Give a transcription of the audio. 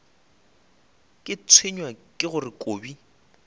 ke tshwenywa ke gore kobi